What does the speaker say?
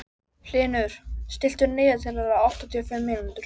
Hlynur, stilltu niðurteljara á áttatíu og fimm mínútur.